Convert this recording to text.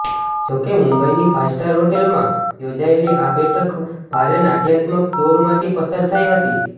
જો કે મુંઇની ફાઇવ સ્ટારમાં હોટેલમાં યોજાયેલી આ બેઠક ભારે નાટ્યાત્મક દોરમાંથી પસાર થઇ હતી